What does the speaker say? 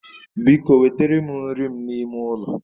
Biko wetere m nri m n'ime ulo